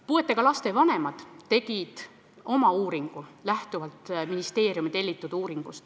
Puudega laste vanemad tegid ministeeriumi tellitud uuringust lähtuvalt oma uuringu.